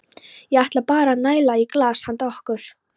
Ég ætla bara að næla í glas handa okkur.